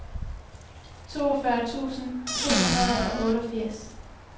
toogfyrre tusind to hundrede og otteogfirs